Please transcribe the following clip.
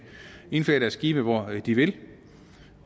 indflage deres skibe hvor de vil